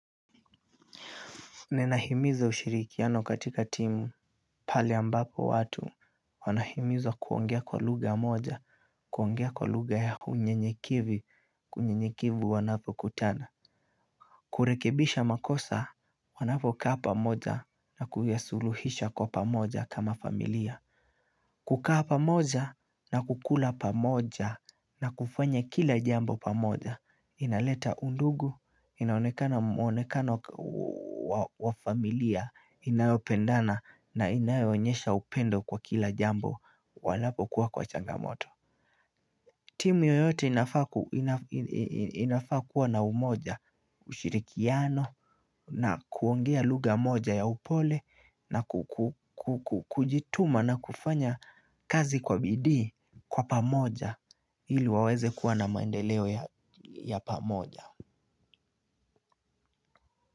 Nina himiza ushirikiano katika timu pali ambapo watu, wanahimizwa kuongea kwa lugha moja, kuongea kwa lugha ya unyenyekevu, kwa unyenyekevu wanapokutana. Kurekebisha makosa, wanapokaa pamoja na kuyasuluhisha kwa pamoja kama familia. Kukaa pamoja na kukula pamoja na kufanya kila jambo pamoja. Inaleta undugu inaonekana mwonekano wa familia inayopenda na inayoonesha upendo kwa kila jambo wanapokuwa kwa changamoto. Timu yoyote inafaa kuwa na umoja ushirikiano na kuongea lugha moja ya upole na kujituma na kufanya kazi kwa bidii kwa pamoja ili waweze kuwa na maendeleo ya pamoja.